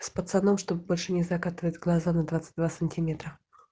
с пацаном чтобы больше не закатывать глаза на двадцать два сантиметра